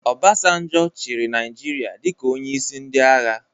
Obasanjo chịrị Naijiria dịka onyeisi ndị agha